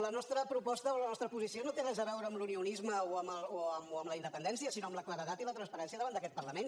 la nostra proposta o la nostra posició no té res a veure amb l’unionisme o amb la independència sinó amb la claredat i la transparència davant d’aquest parlament